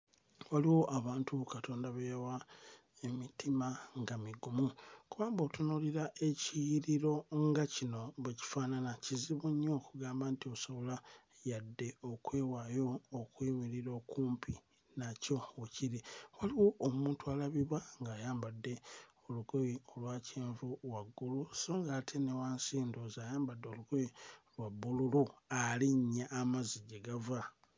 Waliwo abantu Katonda be yawa emitima nga migumu kuba bw'otunuulira ekiyiriro nga kino bwe kifaanana, kizibu nnyo okugamba nti osobola yadde okwewaayo okuyimirira okumpi nakyo we kiri. Waliwo omuntu alabibwa ng'ayambadde olugoye olwa kyenvu waggulu so ng'ate ne wansi ndowooza ayambadde olugoye lwa bbululu, alinnya amazzi gye gava.